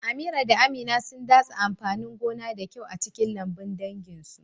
Amira da Amina sun datse amfanin gona da kyau a cikin lambun danginsu.